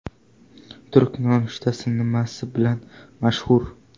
Turk nonushtasi nimasi bilan mashhur?.